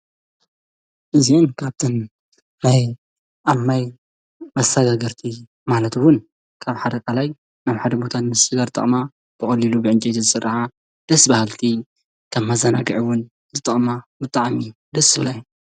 እዙኢን ካብተን ናይ ኣብ ማይ መሳጋገርቲ ማለትውን ካብ ሓደቃላይ ናብ ሓደ ሙታ እንስስደ ርጥቕማ ብቐሊሉ ብዕንቄዝ ዝሥርሓ ደስበሃልቲ ካብ መዛናግዒውን ዝጠቕማ ምጥዓሚ ደስ በሃልቲ እየን።